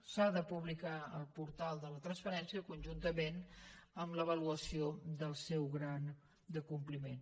s’ha de publicar al portal de la transparència conjuntament amb l’avaluació del seu grau de compliment